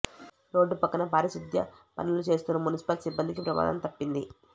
road పక్కన పారిశుద్ధ్య పనులు చేస్తున్న మున్సిపల్ సిబ్బందికి ప్రమాదం తప్పింది